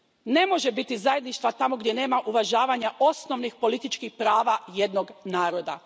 Ne može biti zajedništva tamo gdje nema uvažavanja osnovnih političkih prava jednog naroda.